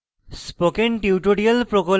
spoken tutorial প্রকল্প the